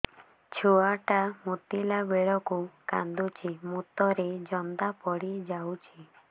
ଛୁଆ ଟା ମୁତିଲା ବେଳକୁ କାନ୍ଦୁଚି ମୁତ ରେ ଜନ୍ଦା ପଡ଼ି ଯାଉଛି